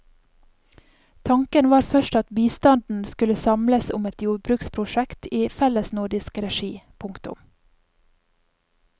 Tanken var først at bistanden skulle samles om et jordbruksprosjekt i fellesnordisk regi. punktum